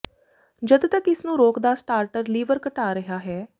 ਜਦ ਤੱਕ ਇਸ ਨੂੰ ਰੋਕਦਾ ਸਟਾਰਟਰ ਲੀਵਰ ਘਟਾ ਰਿਹਾ ਹੈ